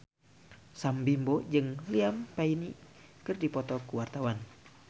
Sam Bimbo jeung Liam Payne keur dipoto ku wartawan